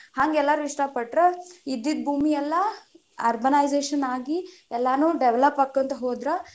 ಹಂಗ ಎಲ್ಲಾರು ಇಷ್ಟ ಪಟ್ರ ಇದ್ದಿದ ಭೂಮಿಯೆಲ್ಲಾ urbanization ಆಗಿ, ಎಲ್ಲಾನು develop ಆಕೂಂತ ಹೋದ್ರ,